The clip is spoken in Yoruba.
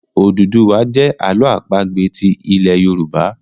Ododuwa jẹ Àló̩ àpagbè ti ilè yorùbá.